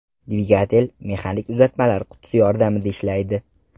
Dvigatel mexanik uzatmalar qutisi yordamida ishlaydi.